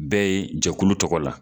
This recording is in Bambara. Bɛ yen jɛkulu tɔgɔ la.